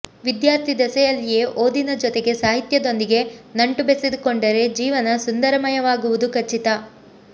ವಿದ್ಯಾರ್ಥಿ ದೆಸೆಯಲ್ಲಿಯೇ ಓದಿನ ಜೊತೆಗೆ ಸಾಹಿತ್ಯದೊಂದಿಗೆ ನಂಟು ಬೆಸೆದುಕೊಂಡರೆ ಜೀವನ ಸುಂದರಮಯವಾಗುವುದು ಖಚಿತ